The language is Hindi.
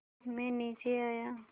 मैं नीचे आया